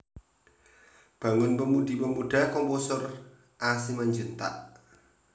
Bangun Pemudi Pemuda Komposer A Simanjuntak